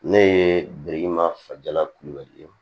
Ne ye biriki ma fala kulubali ye